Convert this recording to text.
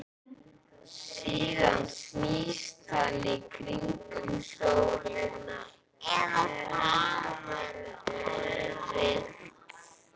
Síðan snýst hann í kringum sólina, eða var það öfugt?